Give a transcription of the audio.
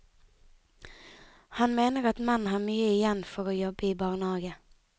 Han mener at menn har mye igjen for å jobbe i barnehage.